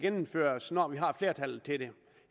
gennemføres når vi har flertallet til det